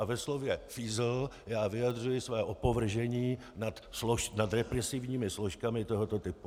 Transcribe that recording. A ve slově fízl já vyjadřuji své opovržení nad represivními složkami tohoto typu.